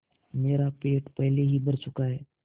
मेरा पेट पहले ही भर चुका है